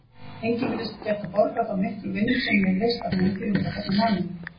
Enginn virðist geta borgað þá miklu vinnu sem ég hefi leyst af hendi undanfarna mánuði.